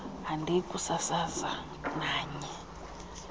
andiyi kusasaza nanye